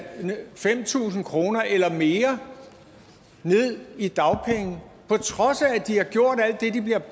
fem tusind kroner eller mere ned i dagpenge på trods af at de har gjort alt det de bliver